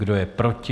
Kdo je proti?